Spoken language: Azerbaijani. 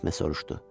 Esme soruşdu.